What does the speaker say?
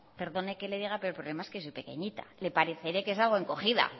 perdone que le diga pero el problema es que soy pequeñita le pareceré que salgo encogida